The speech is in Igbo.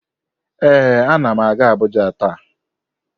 Ee, anam aga abuja ta.